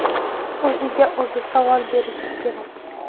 O‘ziga o‘zi savol berishi kerak.